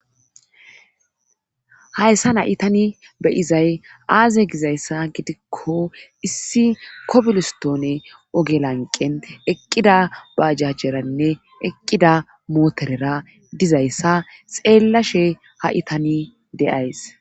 Hayssan ha'i tanii beyizay aaze gizayssa gidikko issi kobilistone oge lanqen eqqida bajajjeranne eqqida mootorera dizayssa xeellashe ha'i tani de'ays